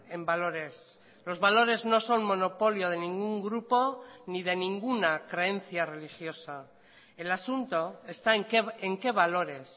en valores los valores no son monopolio de ningún grupo ni de ninguna creencia religiosa el asunto está en qué valores